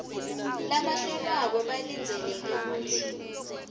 labahlolwako balindzeleke kutsi